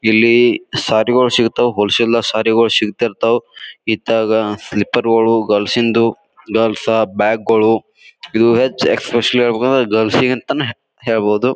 ಇಲ್ಲಿ ಸಾರಿ ಗೊಳ್ ಶಿಗ್ತಾವು ಹೋಲ್ ಸೇಲ್ ಸಾರಿ ಗೊಳ್ ಸಿಗ್ತಿರ್ತವು. ಇತ್ತಾಗ ಸ್ಲಿಪ್ಪರ್ ಗೋಳು ಗರ್ಲ್ಸ್ ಇಂದು ಗರ್ಲ್ಸ್ ಬ್ಯಾಗ್ ಗೊಳ್ ಇದು ಹೆಚ್ಚ್ ಎಸ್ಪೇಸಿಯಲಿ ಹೇಳ್ಬೇಕಂದ್ರ ಗರ್ಲ್ಸ್ ಗ ಅಂತ ಹೇಳ್ಬಹುದು.